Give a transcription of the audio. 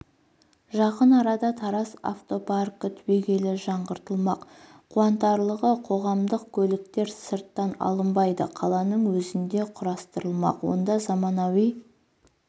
жақын арада тараз автопаркі түбегейлі жаңғыртылмақ қуантарлығы қоғамдық көліктер сырттан алынбайды қаланың өзінде құрастырылмақ онда заманауи